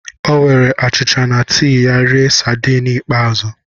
O were achịcha na tii ya rie sadiin ikpeazụ.